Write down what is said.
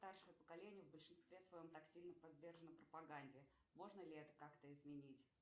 старшее поколение в большинстве своем так сильно подвержено пропаганде можно ли это как то изменить